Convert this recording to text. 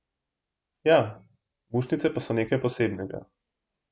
Ja, mušnice pa so nekaj posebnega.